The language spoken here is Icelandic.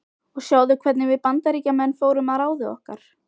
Og sjáðu hvernig við Bandaríkjamenn fórum að ráði okkar.